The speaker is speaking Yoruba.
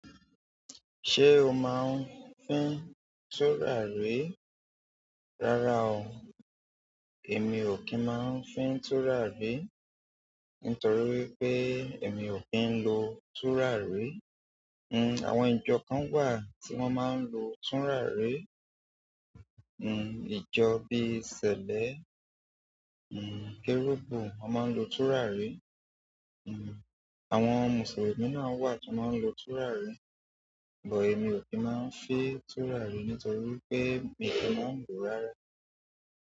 Ṣé o máa ń fín tùràrí? Rárá o, èmi ò kí ń máa ń fín tùràrí. Nítorí wípé èmi ò kí ń lo túràrí. Ń, àwọn ìjọ kan wà tí wọ́n máa ń lo túràrí. Ń, ìjọ bí i ṣèlẹ, ń, kẹ́rúbù wọ́n máa ń lo túràrí. Àwọn Mùsùlùmí náà wà tí wọ́n máa ń lo túràrí. But èmi ò kí máa ń fín túràrí nítorí wípé mi ò kí máa ń lòó rárá.